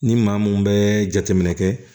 Ni maa mun bɛ jateminɛ kɛ